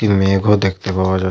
মেঘ ও দেখতে পাওয়া যাচ --